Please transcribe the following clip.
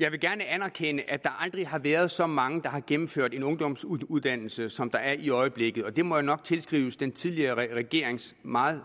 jeg vil gerne anerkende at der aldrig har været så mange der har gennemført en ungdomsuddannelse som der er i øjeblikket og det må jo nok tilskrives den tidligere regerings meget